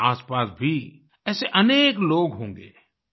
आप के आसपास भी ऐसे अनेक लोग होंगे